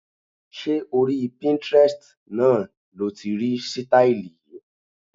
Ṣé orí Pinterest náà lo ti rí sítáílì yìí?